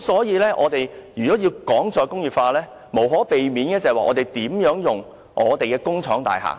如果我們要談"再工業化"，我們必須探討如何運用工廠大廈。